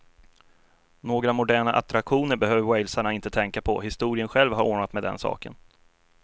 Några moderna attraktioner behöver walesarna inte tänka på, historien själv har ordnat med den saken.